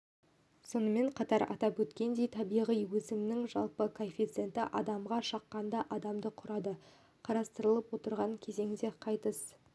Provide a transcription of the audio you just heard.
сонымен қатар атап өткендей табиғи өсімнің жалпы коэффициенті адамға шаққанда адамды құрады қарастырылып отырған кезеңде қайтыс